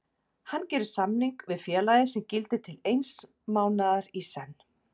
Hann gerir samning við félagið sem gildir til eins mánaðar í senn.